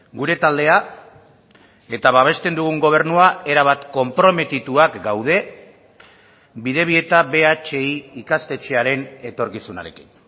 gure taldea eta babesten dugun gobernua erabat konprometituak gaude bidebieta bhi ikastetxearen etorkizunarekin